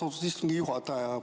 Austatud istungi juhataja!